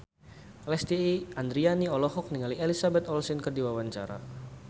Lesti Andryani olohok ningali Elizabeth Olsen keur diwawancara